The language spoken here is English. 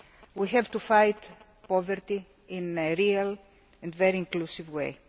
We have to fight poverty in a real and very inclusive way.